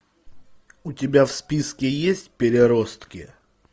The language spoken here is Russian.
у тебя в списке есть переростки